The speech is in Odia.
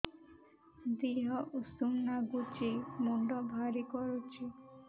ଦିହ ଉଷୁମ ନାଗୁଚି ମୁଣ୍ଡ ଭାରି କରୁଚି